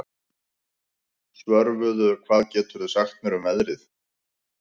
Svörfuður, hvað geturðu sagt mér um veðrið?